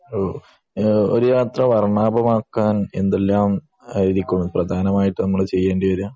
ഓഹ് ഒരു യാത്ര വർണാഭമാക്കാൻ എന്തെല്ലാം ആയിരിക്കും പ്രധാനമായിട്ട് നമ്മൾ ചെയ്യേണ്ടി വര